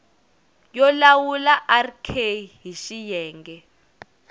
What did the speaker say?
yo lawula rk hl xiyenge